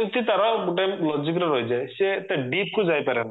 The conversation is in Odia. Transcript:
ଏମତି ତାର ଗୁଟେ logic ର ରହିଯାଏ ସେ ଏତେ deep କୁ ଯାଇପାରେନା